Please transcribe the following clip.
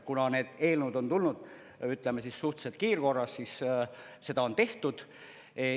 Kuna need eelnõud on tulnud, ütleme, suhteliselt kiirkorras, siis seda on tehtud.